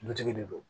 Dutigi de don